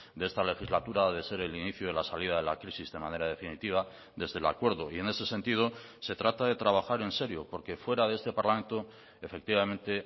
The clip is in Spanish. de esta legislatura ha de ser el inicio de la salida de la crisis de manera definitiva desde el acuerdo y en ese sentido se trata de trabajar en serio porque fuera de este parlamento efectivamente